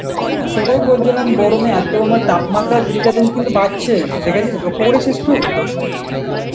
হ্যাঁ সেটাই বলছিলাম গরমে এত মা~ তাপমাত্রা দিনকে দিন কিন্তু বাড়ছেই, দেখেছিস লক্ষ্য করেছিস তু?